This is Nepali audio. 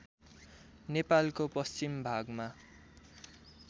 नेपालको पश्चिम भागमा